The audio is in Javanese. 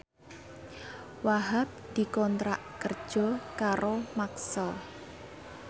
Wahhab dikontrak kerja karo Maxell